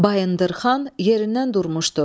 Bayındırxan yerindən durmuşdu.